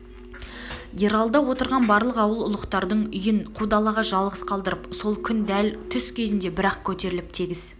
ералыда отырған барлық ауыл ұлықтардың үйін қу далаға жалғыз қалдырып сол күн дәл түс кезінде бір-ақ көтеріліп тегіс